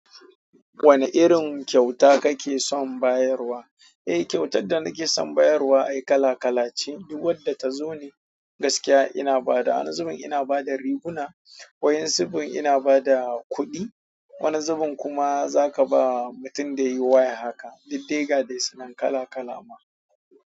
Wane irin kyauta kake son bayarwa? Eh, kyautar da nake son bayarwa ai kala kala ce. Duk wadda ta zo ne gaskiya ina ba da, wani zubin ina ba da riguna, wayan zubin ina ba da kuɗi, wani zubin kuma zaka ba mutum da yi waya haka. Diddega dai suna kala kala ma.